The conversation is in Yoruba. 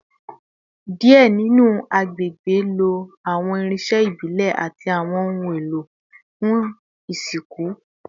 Diẹ ninu awọn agbegbe lo awọn irinṣẹ ibile ati awọn ohun elo fun isinku